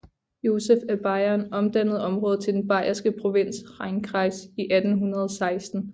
Joseph af Bayern omdannede området til den bayerske provins Rheinkreis i 1816